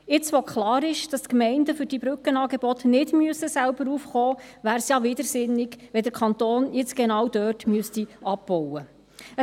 Jetzt, wo klar ist, dass die Gemeinden für diese Brückenangebote nicht selber aufkommen müssen, wäre es ja widersinnig, wenn der Kanton genau dort abbauen müsste.